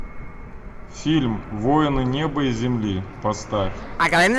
фильм воины неба и земли поставь